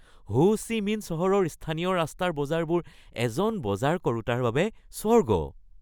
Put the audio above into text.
হো Chi Minh চহৰৰ স্থানীয় ৰাস্তাৰ বজাৰবোৰ এজন বজাৰ কৰোঁতাৰ বাবে স্বৰ্গ।